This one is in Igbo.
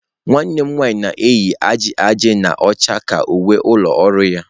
Nwanne m nwanyị na-eyi aja aja na ọcha ka uwe ụlọ ọrụ ya.